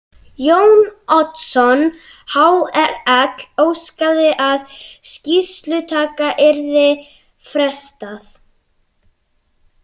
Jón Oddsson hrl.óskaði að skýrslutaka yrði frestað.